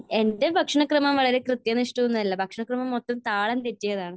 എന്റെ ഭക്ഷണക്രമം വളരെ കൃത്യനിഷ്ടയൊന്നുമല്ല. ഭക്ഷണക്രമം മൊത്തം താളം തെറ്റിയതാണ്.